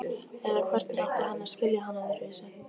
Eða hvernig átti hann að skilja hana öðruvísi?